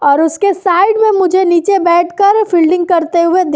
और उसके साइड में मुझे नीचे बैठकर फील्डिंग करते हुए दिख --